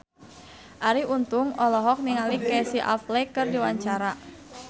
Arie Untung olohok ningali Casey Affleck keur diwawancara